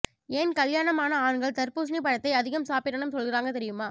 ஏன் கல்யாணம் ஆன ஆண்கள் தர்பூசணி பழத்தை அதிகம் சாப்பிடனும் சொல்லுறாங்க தெரியுமா